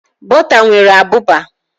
Bọta nwere abụba.